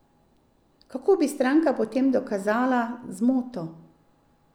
Kako bi stranka potem dokazala zmoto?